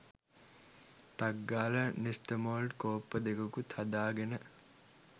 ටක් ගාලා නෙස්ටමෝල්ට් කෝප්ප දෙකකුත් හදාගෙන